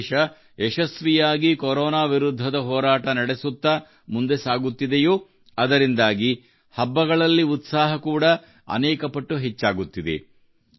ನಮ್ಮ ದೇಶ ಯಶಸ್ವಿಯಾಗಿ ಕೋರೋನಾ ವಿರುದ್ಧದ ಹೋರಾಟ ನಡೆಸುತ್ತಾ ಮುಂದೆ ಸಾಗುತ್ತಿದೆಯೋ ಅದರಿಂದಾಗಿ ಹಬ್ಬಗಳಲ್ಲಿ ಉತ್ಸಾಹ ಕೂಡಾ ಅನೇಕ ಪಟ್ಟು ಹೆಚ್ಚಾಗುತ್ತಿದೆ